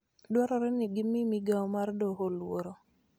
dwarore ni gimi migao mar Doho luor.